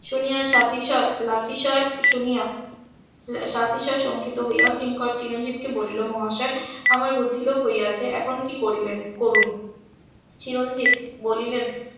শুনিয়া . শুনিয়া . সংকিত হইয়া কিংকর চিরঞ্জিবকে বলিল মহাশয় আমার বুদ্ধি লোপ হইয়াছে এখন কি করিবেন করুন চিরঞ্জিব বলিলেন